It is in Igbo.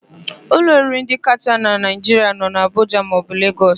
Ụlọ oriri ndị kacha na Naịjiria nọ n'Abụja maọbụ Lagos.